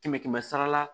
Kɛmɛ kɛmɛ sara la